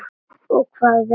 Og hvað er nú það?